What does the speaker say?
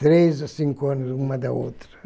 Três a cinco anos, uma da outra.